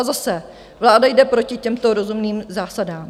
A zase - vláda jde proti těmto rozumným zásadám.